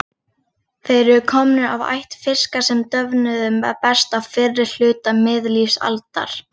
Þeir eru komnir af ætt fiska sem döfnuðu best á fyrri hluta miðlífsaldar.